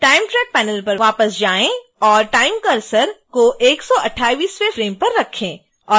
time track panel पर वापस जाएं और time cursor को 128वें फ्रेम पर रखें